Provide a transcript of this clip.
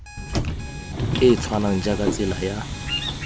e tshwanang jaaka tsela ya